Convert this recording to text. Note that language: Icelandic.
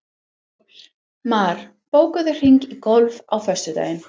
Mar, bókaðu hring í golf á föstudaginn.